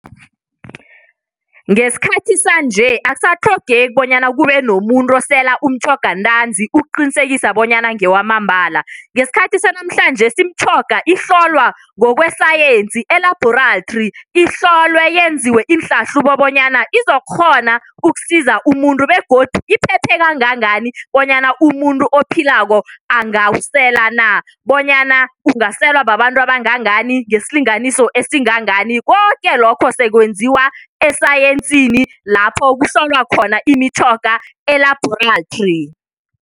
Ngesikhathi sanje akusatlhogeki bonyana kube nomuntu osela umtjhoga ntanzi ukuqinisekisa bonyana ngewamambala, ngesikhathi sanamhlanjesi imitjhoga ihlolwa ngokwesayensi elabhorathri. Ihlolwe yenziwe iinhlahlubo bonyana izokghona ukusiza umuntu begodu iphephe kangangani bonyana umuntu ophilako angawusela na, bonyana ungaselwa babantu abangangangani, ngesilinganiso esingangani, koke lokho sekwenziwa esayensini lapho kuhlolwa khona imitjhoga elaborathri.